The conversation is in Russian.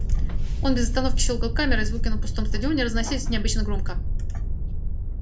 он без остановки щёлкал камерой звуки на пустом стадионе разносились необычно громко